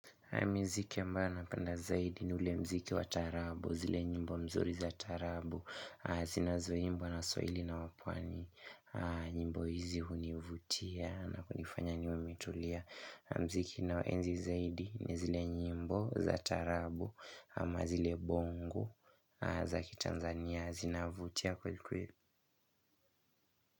Miziki ambayo napenda zaidi ni ule muziki wa taarabu zile nyimbo mzuri za taarabu zinazoimbwa na waswahili na wapwani nyimbo hizi hunivutia na kunifanya niwe nimetulia muziki ninaoenzi zaidi ni zile nyimbo za taarabu ama zile bongo za kitanzania, zinavutia kweli kweli.